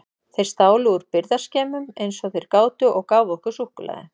Þeir stálu úr birgðaskemmum eins og þeir gátu og gáfu okkur súkkulaði.